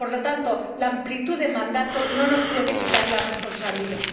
Por lo tanto, la amplitud del mandato no nos puede quitar la responsabilidad.